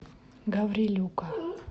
гаврилюка